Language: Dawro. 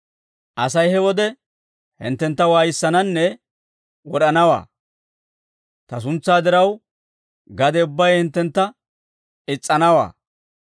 «Asay he wode hinttentta waayissananne wod'anawaa; ta suntsaa diraw, gade ubbay hinttentta is's'anawaa.